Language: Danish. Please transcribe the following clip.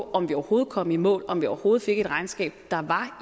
om vi overhovedet kom i mål om vi overhovedet fik et regnskab der var